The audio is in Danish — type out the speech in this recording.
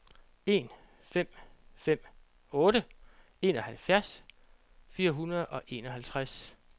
en fem fem otte enoghalvfjerds fire hundrede og enoghalvtreds